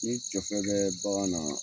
Ni tɔfɛ bɛ bagan na